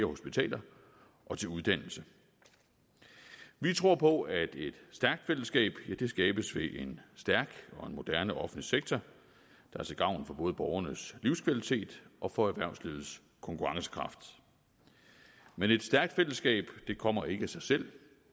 og hospitaler og til uddannelse vi tror på at et stærkt fællesskab skabes ved en stærk og en moderne offentlig sektor der er til gavn for både borgernes livskvalitet og for erhvervslivets konkurrencekraft men et stærkt fællesskab kommer ikke af sig selv